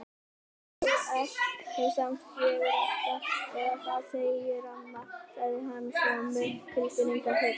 Þú ert nú samt fegurstur eða það segir amma sagði hann svo með tilfinningahita.